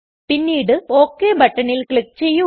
പിന്നീട് ഒക് ബട്ടണിൽ ക്ലിക് ചെയ്യുക